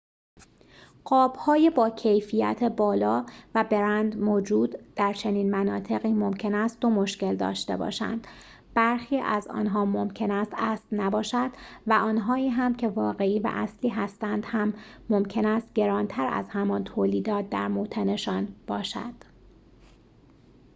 قاب‌های با کیفیت بالا و برند موجود در چنین مناطقی ممکن است دو مشکل داشته باشند برخی از آنها ممکن است اصل نباشد و آنهایی هم که واقعی و اصلی هستند هم ممکن است گران‌تر از همان تولیدات در موطن‌شان باشد